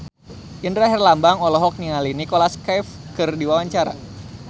Indra Herlambang olohok ningali Nicholas Cafe keur diwawancara